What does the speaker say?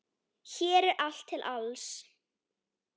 Hér er allt til alls.